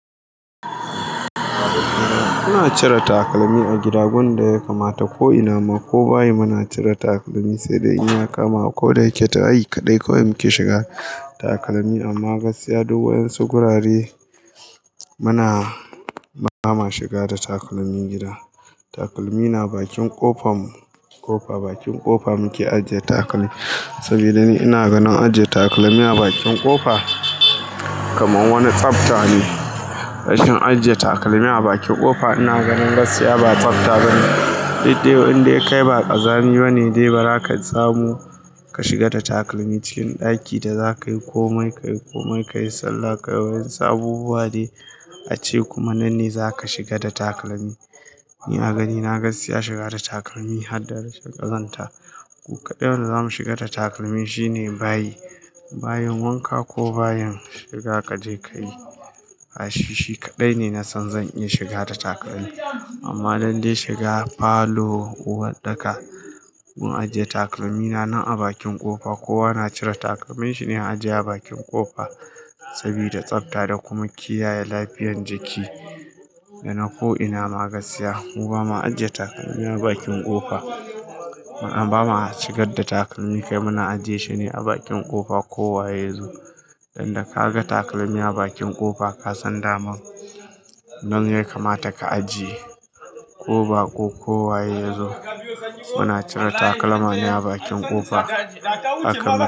Muna cire takalmi a gida, gurin da ya kamata ko ina ma ko bayi muna cire takalmi, sai dai ina kama ko da yake ta'ai kaɗai kawai muke shiga takalmi amma gaskiya duk wayen su gurare mana ba ma shiga da takalmin gida. Takalmi na bakin ƙofa, bakin ƙofa muke ajiye takalmi. Saboda ni ina ganin ajiye takalmi a bakin ƙofa kamar wani tsafta ne. Rashin ajiye takalmi a bakin ƙofa ina ganin gaskiya ba tsafta bane. Daidai inda ya kai ba ƙazami bane dai ba haka zamu ka shiga da takalmi cikin ɗaki da za ka yi komai, ka yi komai, ka yi sallah. Wayen su abubuwa ne a ce kuma nan ne za ka shiga da takalmi. Ni a ganin na gaskiya shiga da takalmi har da rashin ƙazanta. Duk kaɗan da zamu shiga da takalmi shine bayi, bayin wanka ko bayin shiga ka je ka yi. Kashi shi kaɗai ne na san zan iya shiga da takalmi. Amma lallai shiga falo, uwarɗaka mun ajiye takalmi na nan a bakin ƙofa. Kowa na cire takalmin shi ne ajiye a bakin ƙofa saboda tsafta da kuma kiyaye lafiyan jiki. Da na ko ina ma gaskiya mu ba ma ajiye takalmi a bakin ƙofa. Amma ba ma shigar da takalmi kai muna ajiye shi ne a bakin ƙofa ko waye ya zo. Dan da ka ga takalmi a bakin ƙofa ka san daman. Nan ya kamata ka ajiye ko ba ko kowa ya zo. Muna cire takalma ne a bakin ƙofa aka mana.